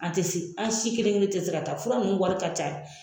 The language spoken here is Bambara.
An ti se an si kelen kelen ti se ka taa fura nunnu wari ka ca